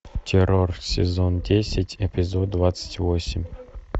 террор сезон десять эпизод двадцать восемь